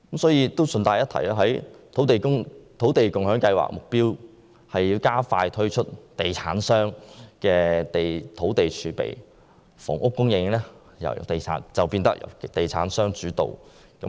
順帶一提，土地共享先導計劃的目標是加快推出地產商的土地儲備，如此一來，房屋供應將變得由地產商主導。